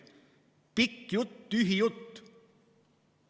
Pikk jutt, tühi jutt.